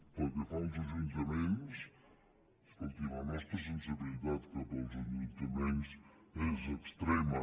pel que fa als ajuntaments escolti la nostra sensibilitat cap als ajuntaments és extrema